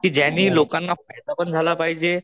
कि ज्यांनी लोकांना फायदा पण झाला पाहिजे